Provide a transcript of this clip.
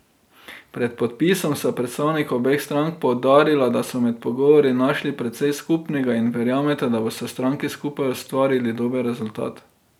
Pred podpisom sta predstavnika obeh strank poudarila, da so med pogovori našli precej skupnega in verjameta, da bosta stranki skupaj ustvarili dober rezultat.